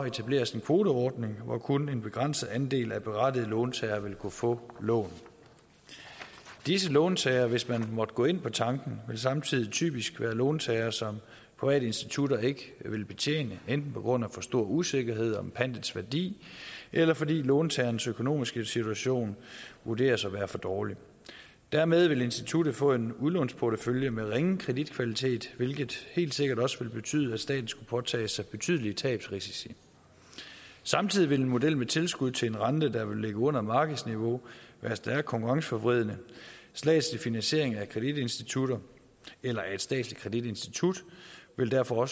etableres en kvoteordning hvor kun en begrænset andel af berettigede låntagere vil kunne få lån disse låntagere vil hvis man måtte gå ind på tanken samtidig typisk være låntagere som private institutter ikke vil betjene enten på grund af for stor usikkerhed om pantets værdi eller fordi låntagerens økonomiske situation vurderes at være for dårlig dermed vil instituttet få en udlånsportefølje med ringe kreditkvalitet hvilket helt sikkert også vil betyde at staten skulle påtage sig betydelige tabsrisici samtidig vil en model med tilskud til en rente der vil ligge under markedsniveau være stærkt konkurrenceforvridende statslig finansiering af kreditinstitutter eller af et statsligt kreditinstitut ville derfor